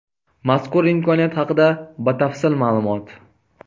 Mazkur imkoniyat haqida batafsil ma’lumot.